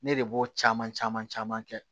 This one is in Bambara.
Ne de b'o caman caman caman kɛ